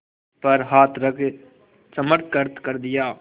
पर हाथ रख चमत्कृत कर दिया